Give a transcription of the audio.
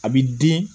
A bi den